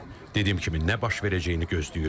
Dediyim kimi, nə baş verəcəyini gözləyirik.